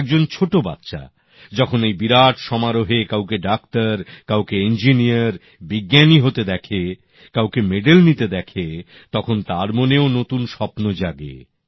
একজন ছোটো বাচ্চা যখন এই বিরাট সমারোহে কাউকে ডাক্তার কাউকে ইঞ্জিনিয়ার বিজ্ঞানী হতে দেখে কাউকে মেডেল নিতে দেখে তখন তার মনেও নতুন স্বপ্ন জাগে